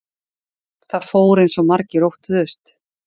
Það fór eins og margir óttuðust